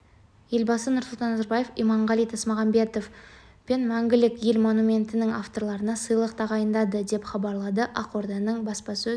елбасы нұрсұлтан назарбаев иманғали тасмағамбетов пен мәңгілік ел монументінің авторларына сыйлық тағайындады деп хабарлады ақорданың баспасөз